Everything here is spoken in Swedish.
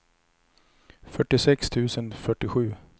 fyrtiosex tusen fyrtiosju